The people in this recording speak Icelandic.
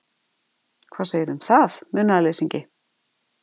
Hvað segirðu um það, munaðarleysingi?